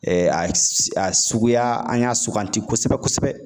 a suguya an y'a suganti kosɛbɛ kosɛbɛ